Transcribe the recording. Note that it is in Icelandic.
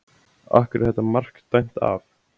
Af hverju var þetta mark dæmt af?